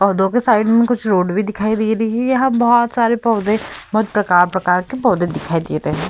पौधों के साइड मे कुछ रोड भी दिखाई दे रही है। यहाँ बहोत सारे पौधे बहोत प्रकार-प्रकार के पौधे दिखाई दे रहे हैं।